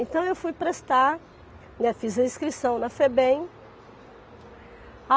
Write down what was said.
Então eu fui prestar, né, fiz a inscrição na Febem.